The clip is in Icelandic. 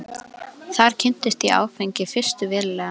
Þar kynntist ég áfengi fyrst verulega.